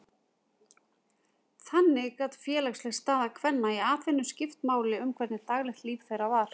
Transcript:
Þannig gat félagsleg staða kvenna í Aþenu skipt máli um hvernig daglegt líf þeirra var.